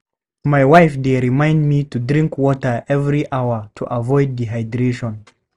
My wife dey remind me to drink water every hour to avoid dehydration.